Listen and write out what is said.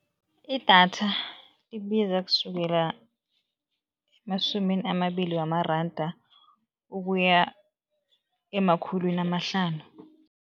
Idatha libiza kusukela emasumini amabili wamaranda ukuya emakhulwini amahlanu.